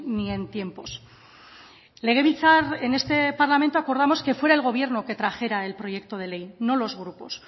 ni en tiempos en este parlamento acordamos que fuera el gobierno el que trajera el proyecto de ley no los grupos